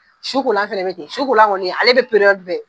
Sukolan fɛnɛ bɛ ten sukolan kɔni ale be bɛ